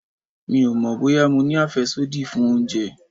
Mi ò mọ̀ bóyá mo ní àfẹ́sódì fún oúnjẹ.